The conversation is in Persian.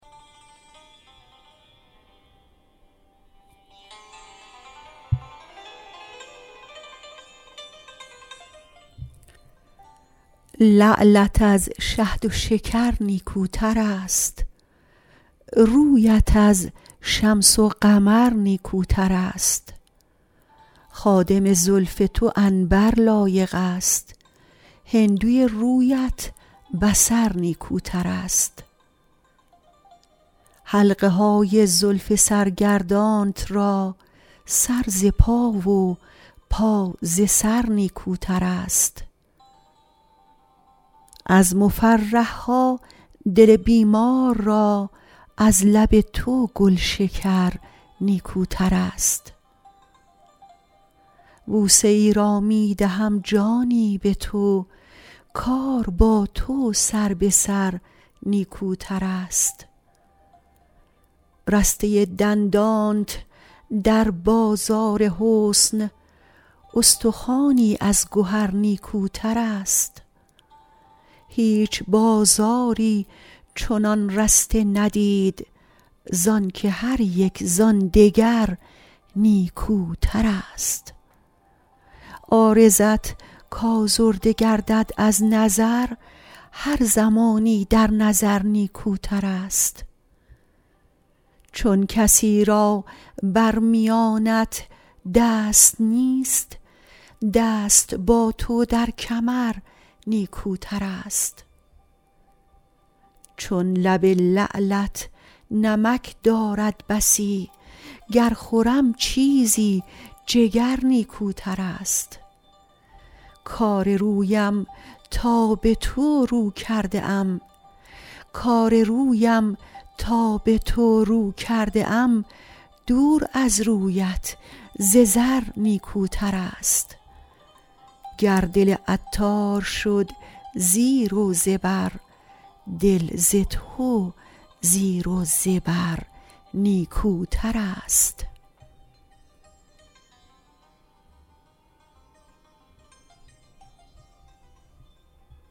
لعلت از شهد و شکر نیکوتر است رویت از شمس و قمر نیکوتر است خادم زلف تو عنبر لایق است هندوی رویت بصر نیکوتر است حلقه های زلف سرگردانت را سر ز پا و پا ز سر نیکوتر است از مفرح ها دل بیمار را از لب تو گلشکر نیکوتر است بوسه ای را می دهم جانی به تو کار با تو سر به سر نیکوتر است رسته دندانت در بازار حسن استخوانی از گهر نیکوتر است هیچ بازاری چنان رسته ندید زانکه هریک زان دگر نیکوتر است عارضت کازرده گردد از نظر هر زمانی در نظر نیکوتر است چون کسی را بر میانت دست نیست دست با تو در کمر نیکوتر است چون لب لعلت نمک دارد بسی گر خورم چیزی جگر نیکوتر است کار رویم تا به تو رو کرده ام دور از رویت ز زر نیکوتر است گر دل عطار شد زیر و زبر دل ز تو زیر و زبر نیکوتر است